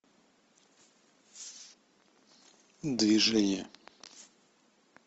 движение